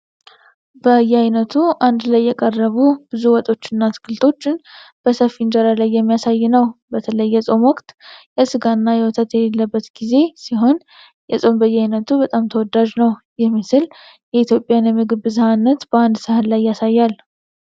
በየአይነቱ አንድ ላይ የቀረቡ ብዙ ወጦችን እና አትክልቶችን በሰፊ እንጀራ ላይ የሚያሳይ ነው። በተለይ የጾም ወቅት (የስጋና የወተት የሌለበት ጊዜ) ሲሆን የጾም በየአይነቱ በጣም ተወዳጅ ነው። ይህ ምግብ የኢትዮጵያን የምግብ ብዝኃነት በአንድ ሳህን ላይ ያሳያል።